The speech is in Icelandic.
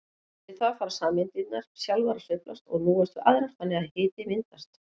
Við það fara sameindirnar sjálfar að sveiflast og núast við aðrar þannig að hiti myndast.